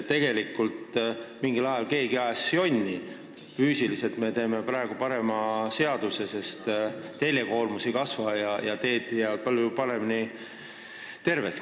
Tegelikult ajas mingil ajal keegi jonni, me teeme praegu parema seaduse, sest teljekoormus ei kasva ja teed jäävad palju tervemaks.